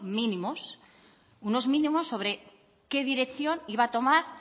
mínimos unos mínimos sobre qué dirección iba a tomar